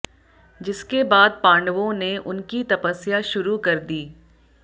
जिसके बाद पांडवों ने उनकी तपस्या शुरू कर दी